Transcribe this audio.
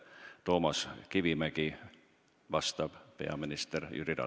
Küsib Toomas Kivimägi, vastab peaminister Jüri Ratas.